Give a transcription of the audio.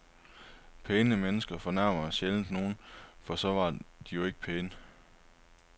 Pæne mennesker fornærmer sjældent nogen, for så var de jo ikke pæne.